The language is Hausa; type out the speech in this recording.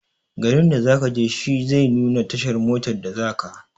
Garin da zakaje shi zai nuna tashar motar da zaka.